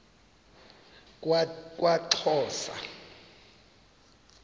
kwaxhosa